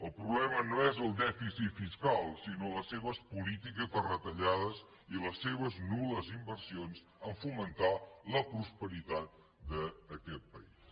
el problema no és el dèficit fiscal sinó les seves polítiques de retallades i les seves nul·les inversions a fomentar la prosperitat d’aquest país